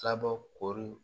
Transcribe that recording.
Filabɔ kori